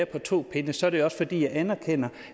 på to ben så er det også fordi jeg anerkender